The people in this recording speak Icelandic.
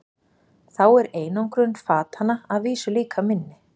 Þá er einangrun fatanna að vísu líka minni.